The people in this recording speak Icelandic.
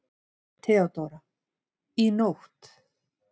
THEODÓRA: Í nótt.